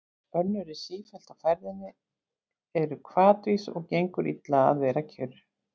Önnur eru sífellt á ferðinni, eru hvatvís og gengur illa að vera kyrr.